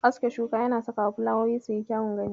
Aske shuka yana sakawa filawoyi suyi kyawun gani.